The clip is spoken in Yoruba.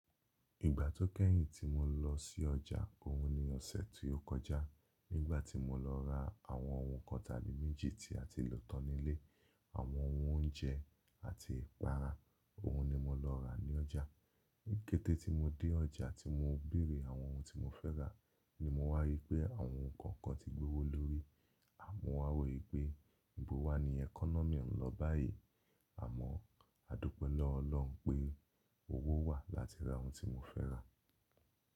Ìgbà tó kẹ́yìn tí mo lọ sí ọjà, òun ni ọ̀sẹ̀ tí ó kọjá. Nígbà tí mo lọ ra àwọn ohun kọ́ta ni méjì tí a ti lò tán nílé, àwọn oúnjẹ àti ìpara, òun ni mo lọ rà ní ọjà. Níkẹ́tẹ́ tí mo dé ọjà tí mo bèrè àwọn ohun tí mo fẹ́ rà, ni mo wá rí pé àwọn ohun kan kan ti gbé owó lórí. A mo wá wò pé níbo wá ni economy ń lọ báyìí, àmọ́ a dúpẹ́ lọ́ọ̀ọ́ Ọlọ́run pé owó wà láti ra ohun tí mo fẹ́ rà.